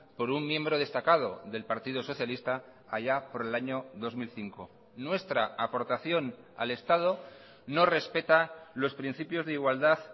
por un miembro destacado del partido socialista allá por el año dos mil cinco nuestra aportación al estado no respeta los principios de igualdad